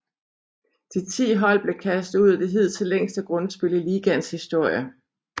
De ti hold blev kastet ud i det hidtil længste grundspil i ligaens historie